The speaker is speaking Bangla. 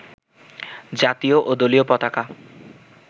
জাতীয় ও দলীয় পতাকা